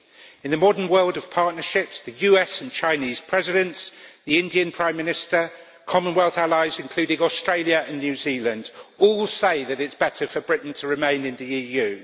In the modern world of partnerships, the US and Chinese Presidents, the Indian Prime Minister and Commonwealth allies including Australia and New Zealand all say that it is better for Britain to remain in the EU.